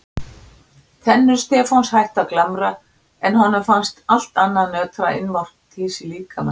Tennur Stefáns hættu að glamra en honum fannst allt annað nötra innvortis í líkama sínum.